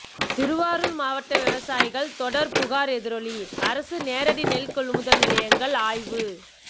திருவாரூர் மாவட்ட விவசாயிகள் தொடர் புகார் எதிரொலி அரசு நேரடி நெல் கொள்முதல் நிலையங்கள் ஆய்வு